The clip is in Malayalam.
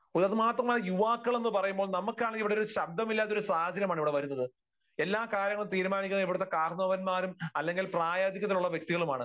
അതുമാത്രമല്ല യുവാക്കൾ എന്ന് പറയുമ്പോൾ നമുക്കാണെങ്കിൽ ഇവിടെയൊരു ശബ്ദമില്ലാത്ത ഒരു സാഹചര്യമാണ് ഇവിടെ വരുന്നത്. എല്ലാ കാര്യങ്ങളും തീരുമാനിക്കുന്നത് ഇവിടുത്തെ കാരണവന്മാരും അല്ലെങ്കിൽ പ്രായാധിക്യത്തിലുള്ള വ്യക്തികളുമാണ്.